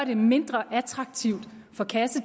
vi mener